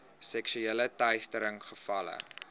seksuele teistering gevalle